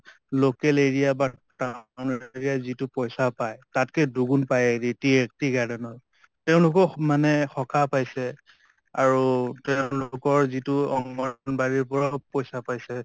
local area বা যিটো পইছা পায় তাতকে দুগুণ পাই tea tea garden ৰ। তেওঁলোকো মানে সকাহ পাইছে আৰু তেঁওলোকৰ যিটো অংগণবাড়ীৰ পৰাও পইছা পাইছে ।